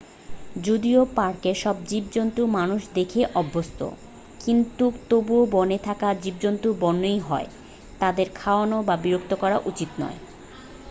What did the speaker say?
যদিও পার্কের সব জীবজন্তু মানুষ দেখেই অভ্যস্থ, কিন্তু তবুও বনে থাকা জীবজন্তু বন্য ই হয়, তাদের খাওয়ানো বা বিরক্ত করা উচিত নয়।